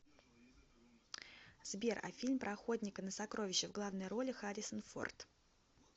сбер а фильм про охотника на сокровища в главной роли харрисон форд